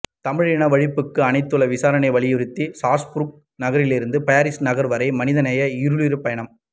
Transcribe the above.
தமிழினவழிப்புக்கு அனைத்துலக விசாரணையை வலியுறுத்தி ஸ்ராஸ்பூர்க் நகரிலிருந்து பரிஸ் நகர் வரை மனிதநேய ஈருருளிப் பயணம்